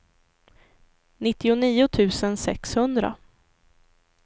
nittionio tusen sexhundra